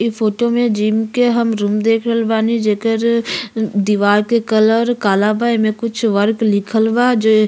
इ फोटो में जिम के हम रूम देखल बानी। जेकर दिवार के कलर काला बा। एमे कुछ वर्क लिखल बा जो --